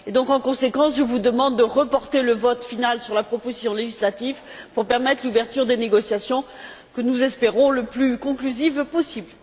En conséquence, je vous demande de reporter le vote final sur la proposition législative pour permettre l'ouverture des négociations, que nous espérons les plus conclusives possible.